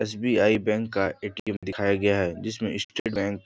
SBI. Bank का ATM. दिखाई गया है जिसमे इ स्टेट बैंक --